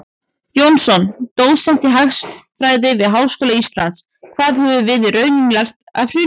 Jónsson, dósent í hagfræði við Háskóla Íslands: Hvað höfum við í rauninni lært af hruninu?